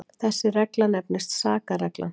Þessi regla nefnist sakarreglan.